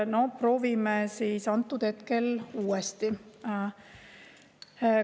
No proovime siis uuesti.